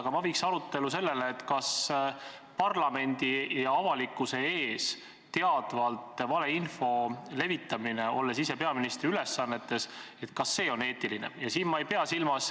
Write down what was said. Aga ma viiksin arutelu üle sellele teemale, kas parlamendi ja avalikkuse ees teadvalt valeinfo levitamine, kui ollakse veel peaministri ülesannetes, on eetiline.